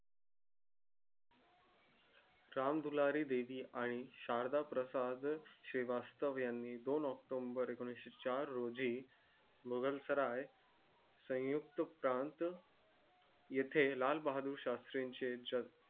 राम दुलारी बेबी आणि शारदा प्रसाद श्रीवास्तव यांनी दोन october एकोनशी चार रोजी मुघल साराय संयुक्त प्रान्त येते लाल बहादूर शास्री चे जग